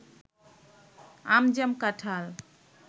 আম জাম কাঁঠাল